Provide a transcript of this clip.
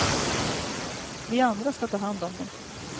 Vi andra ska ta hand om dem.